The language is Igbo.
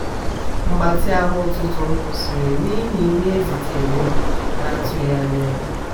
mgbatị ahụ ụtụtụ m kwụsịrị n'ihi ihe e zitere m n'atughi anya ya